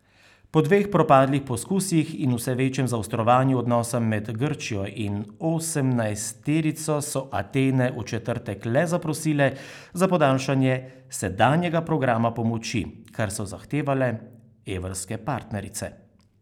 Po dveh propadlih poskusih in vse večjem zaostrovanju odnosa med Grčijo in osemnajsterico so Atene v četrtek le zaprosile za podaljšanje sedanjega programa pomoči, kar so zahtevale evrske partnerice.